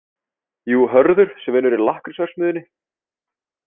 Jú, Hörður sem vinnur í lakkrísverksmiðjunni.